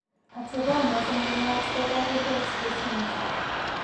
Atepo noton ko naat ko variable expressivity.